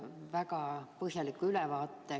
See oli väga põhjalik ülevaade.